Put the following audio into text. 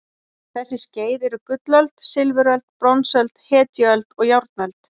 Þessi skeið eru gullöld, silfuröld, bronsöld, hetjuöld og járnöld.